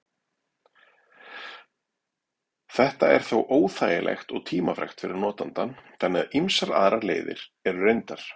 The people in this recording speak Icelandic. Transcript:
Þetta er þó óþægilegt og tímafrekt fyrir notandann, þannig að ýmsar aðrar leiðir eru reyndar.